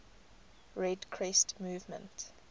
red crescent movement